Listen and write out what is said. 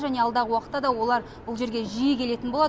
және алдағы уақытта да олар бұл жерге жиі келетін болады